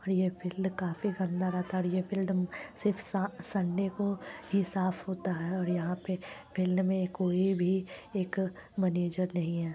और ये फील्ड काफी गन्दा रहता है और ये फील्ड सिर्फ सा सन्डे को ही साफ़ होता है और यहां पे फील्ड में कोई भी एक मेंनेजर नहीं है।